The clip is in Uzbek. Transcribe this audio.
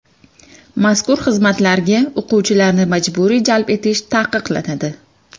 Mazkur xizmatlarga o‘quvchilarni majburiy jalb etish taqiqlanadi.